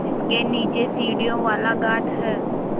जिसके नीचे सीढ़ियों वाला घाट है